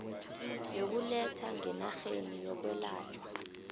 yokuletha ngenarheni yokwelatjhwa